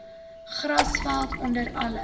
grasveld onder alle